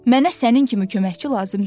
Mənə sənin kimi köməkçi lazım deyil.